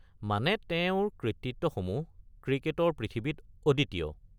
মানে তেওঁৰ কৃতিত্বসমূহ ক্ৰিকেটৰ পৃথিৱীত অদ্বিতীয়।